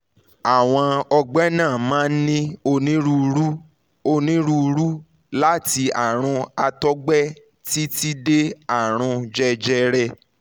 àwọn ọgbẹ́ náà máa ń ní onírúurú onírúurú láti àrùn àtọ̀gbẹ títí dé àrùn jẹjẹrẹ